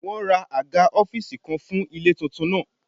Wọ́n ra àga ọ́fíìsì kan fún ilé tuntun náà